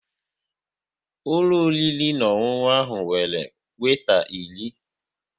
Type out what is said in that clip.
Ụlọ oriri na ọṅụṅụ ahụ nwere weeta iri